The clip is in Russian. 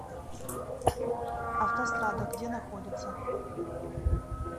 автострада где находится